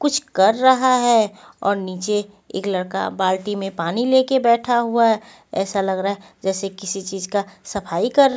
कुछ कर रहा है और नीचे एक लड़का बाल्टी में पानी लेके बैठा हुआ है ऐसा लग रहा है जैसे किसी चीज का सफाई कर--